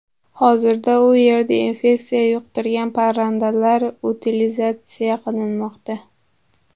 Hozirda u yerda infeksiya yuqtirgan parrandalar utilizatsiya qilinmoqda.